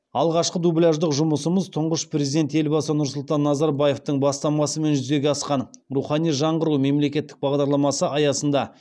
алғашқы дубляждық жұмысымыз тұңғыш президент елбасы нұрсұлтан назарбаевтың бастамасымен жүзеге асқан рухани жаңғыру мемлекеттік бағдарламасы аясында